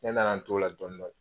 Ne nana n t'o la dɔni dɔni